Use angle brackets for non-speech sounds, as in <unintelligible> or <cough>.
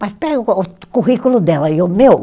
Mas pega <unintelligible> o currículo dela e o meu.